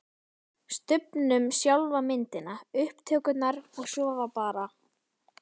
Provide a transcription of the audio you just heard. Stubbnum, sjálfa myndina, upptökurnar og svo var bara